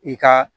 I ka